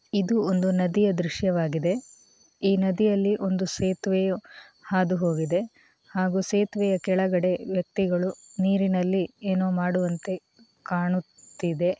ಇದು ಒಂದು ನದಿಯ ದೃಶ್ಯವಾಗಿದೆ ಈ ನದಿಯಲ್ಲಿ ಒಂದು ಸೇತುವೆಯು ಹಾದುಹೋಗಿದೆ ಹಾಗೂ ಸೇತುವೆ ಕೆಳಗಡೆ ವ್ಯಕ್ತಿಗಳು ನೀರಿನಲ್ಲಿ ಏನೋ ಮಾಡುವಂತೆ ಕಾಣುತ್ತಿದೆ.